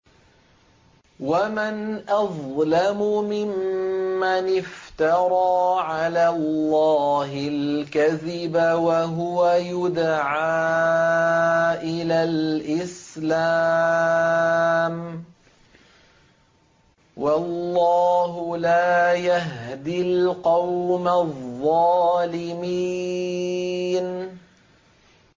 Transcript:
وَمَنْ أَظْلَمُ مِمَّنِ افْتَرَىٰ عَلَى اللَّهِ الْكَذِبَ وَهُوَ يُدْعَىٰ إِلَى الْإِسْلَامِ ۚ وَاللَّهُ لَا يَهْدِي الْقَوْمَ الظَّالِمِينَ